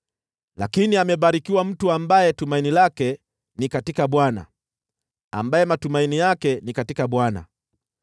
“Lakini amebarikiwa mtu ambaye tumaini lake ni katika Bwana , ambaye matumaini yake ni katika Bwana .